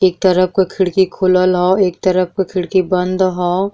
एक तरफ क खिड़की खुलल हउ एक तरफ के खिड़की बंद हउ।